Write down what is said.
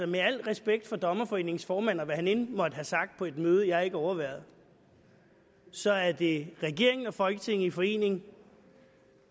med al respekt for dommerforeningens formand og hvad han end måtte have sagt på et møde jeg ikke overværede så er det regeringen og folketinget i forening